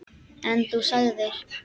En þú sagðir.